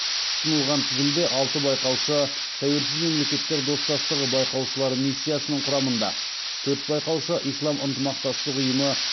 ұсынылған тізімде алты байқаушы тәуелсіз мемлекеттер достастығы байқаушылары миссиясының құрамында төрт байқаушы ислам ынтымақтастық ұйымы